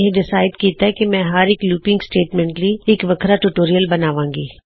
ਮੈਂ ਫ਼ੈਸਲਾ ਕਿੱਤਾ ਹੈ ਕੀ ਮੈਂ ਹਰ ਇੱਕ ਲੂਪਿੰਗ ਸਟੇਟਮੈਂਟ ਲਈ ਇੱਕ ਅਲਗ ਟਿਊਟੋਰਿਯਲ ਬਣਾਵਾਂਗਾ